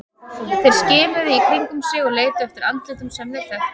Þeir skimuðu í kringum sig og leituðu eftir andlitum sem þeir þekktu.